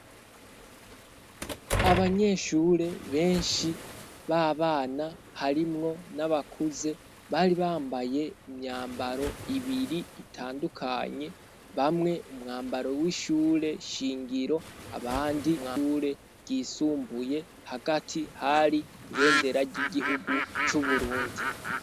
Abanyeshure benshi b'abana, harimwo n'abakuze, bari bambaye imyambaro ibiri itandukanye ,bamwe umwambaro w'ishure shingiro ,abandi w'ishure ryisumbuye hagati hari ibendera ry'igihugu c'uburundi.